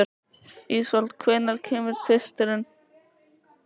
Ísfold, hvenær kemur tvisturinn?